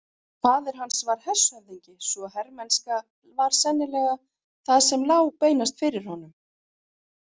Faðir hans var hershöfðingi svo hermennska var sennilega það sem lá beinast fyrir honum.